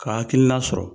Ka hakilina sɔrɔ